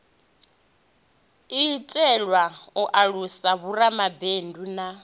itelwa u alusa vhoramabindu na